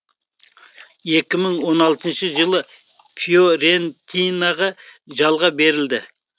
екі мың он алтыншы жылы фиорентинаға жалға берілді